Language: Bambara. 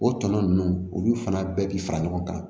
O tɔnɔ ninnu olu fana bɛɛ bi fara ɲɔgɔn kan